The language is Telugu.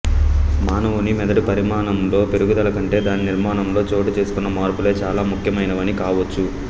మానవుని మెదడు పరిమాణంలోని పెరుగుదల కంటే దాని నిర్మాణంలో చోటు చేసుకున్న మార్పులే చాలా ముఖ్యమైనవి కావచ్చు